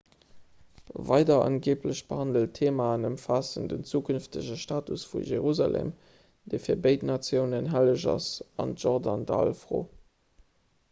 weider angeeblech behandelt theemaen ëmfaassen den zukünftege status vu jerusalem dee fir béid natiounen helleg ass an d'jordandall-fro